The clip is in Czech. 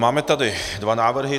Máme tady dva návrhy.